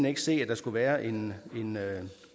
ikke se at der skulle være en